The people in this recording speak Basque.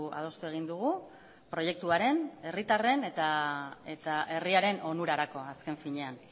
adostu egin dugu proiektuaren herritarren eta herriaren onurarako azken finean